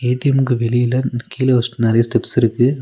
ஏ_டி_எம்க்கு வெளியில கீழ ஒரு நெறைய ஸ்டெப்ஸ் இருக்கு.